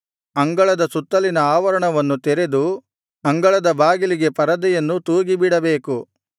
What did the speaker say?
ಅಂಗಳದ ಸುತ್ತಲಿನ ಆವರಣವನ್ನು ತೆರೆದು ಅಂಗಳದ ಬಾಗಿಲಿಗೆ ಪರದೆಯನ್ನು ತೂಗಿಬಿಡಬೇಕು